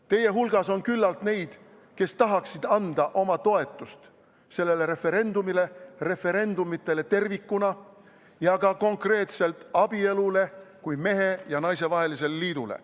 Teie hulgas on küllalt neid, kes tahaksid anda oma toetust sellele referendumile, referendumitele tervikuna ja ka konkreetselt abielule kui mehe ja naise vahelisele liidule.